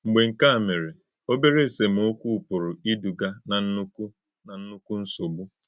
Mgbē kè à mè̄rè, òbèrè èsèmọ̀kwú̄ pụ̀rụ̀ ídúgà ná ńnụ́kkụ̀ ná ńnụ́kkụ̀ nsọ̀gbú̄.